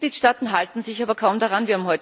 Die Mitgliedsstaaten halten sich aber kaum daran.